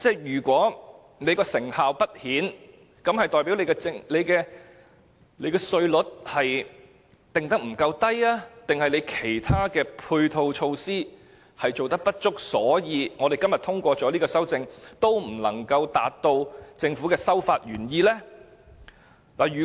如果成效不彰，是代表所訂稅率不夠低，還是其他配套措施不足，以致今天通過這項修正案，也無法達到政府的修法原意呢？